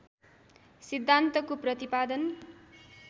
सिद्धान्तको प्रतिपादन